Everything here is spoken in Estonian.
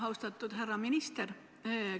Austatud härra minister!